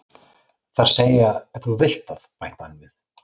Það er að segja ef þú vilt það, bætti hann við.